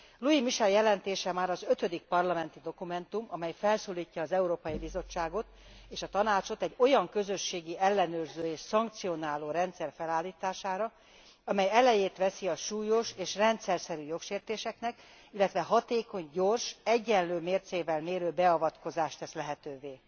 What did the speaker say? Luis Michel jelentése már az ötödik parlamenti dokumentum, amely felszólítja az Európai Bizottságot és a Tanácsot egy olyan közösségi ellenőrző és szankcionáló rendszer felállítására, amely elejét veszi a súlyos és rendszerszerű jogsértéseknek, illetve hatékony, gyors, egyenlő mércével mérő beavatkozást tesz lehetővé.